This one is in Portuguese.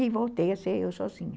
E voltei a ser eu sozinha.